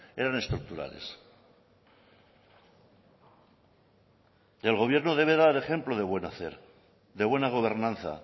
eran estructurales el gobierno debe dar ejemplo de buen hacer de buena gobernanza